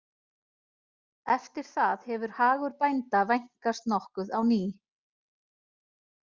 Eftir það hefur hagur bænda vænkast nokkuð á ný.